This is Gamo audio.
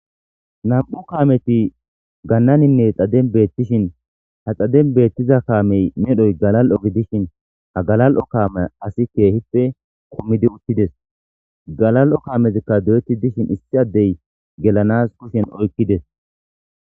Nam'u kaameti gannaninne xaden beettishin ha xaden beettiza kaamey medhoy galal'o gi dishin hagalal'o kaame asi keehippe komidi uttides galal'o kaamezikka do'etti dishin issi addey gelanas kushen oykkides.